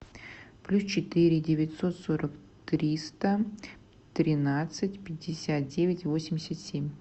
плюс четыре девятьсот сорок триста тринадцать пятьдесят девять восемьдесят семь